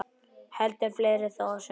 Heldur fleira þó á sumrin.